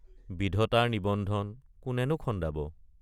বিধতাৰ নিবন্ধন কোনেনো খন্দাব।